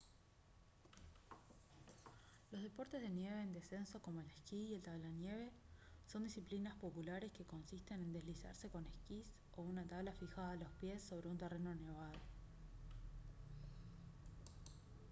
los deportes de nieve en descenso como el esquí y la tablanieve son disciplinas populares que consisten en deslizarse con esquís o una tabla fijada a los pies sobre un terreno nevado